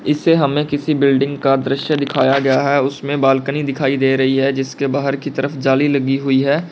इसे हमें किसी बिल्डिंग का दृश्य दिखाया गया है उसमें बालकनी दिखाई दे रही है जिसके बाहर की तरफ जाली लगी हुई है।